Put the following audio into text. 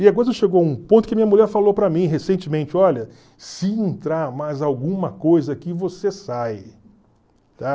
E agora chegou um ponto que minha mulher falou para mim recentemente, olha, se entrar mais alguma coisa aqui, você sai.